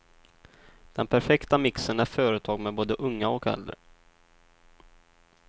Den perfekta mixen är företag med både unga och äldre.